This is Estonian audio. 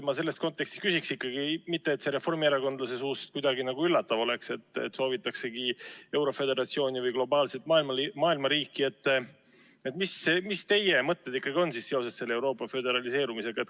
Ma selles kontekstis küsiksingi – mitte et see reformierakondlase suust kuidagi üllatav oleks, et soovitaksegi euroföderatsiooni või globaalset maailmariiki –, mis teie mõtted ikkagi on seoses Euroopa föderaliseerumisega.